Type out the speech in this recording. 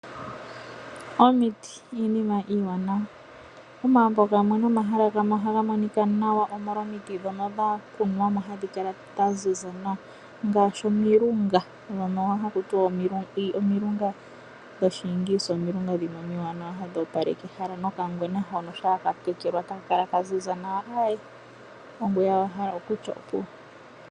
Omiti iinima iiwanawa. Omagumbo gamwe nomahala gamwe ohaga monika nawa, omolwa omiti ndhono dha kunwa mo ohadhi kala tadhi monika nawa dha ziza nawa ngaashi omilunga. Ndhono haku tiwa omilunga dhuushimba omilunga omiwanawa hadhi opaleke ehala nokangwena uuna ka tekelwa e taka kala ka ziza nawa, ongoye owala to ti opuwo.